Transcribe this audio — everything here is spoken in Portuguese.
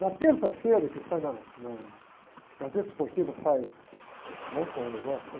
Na terça-feira, que sai na, na Gazeta Esportiva, sai, né? Com o negócio e tal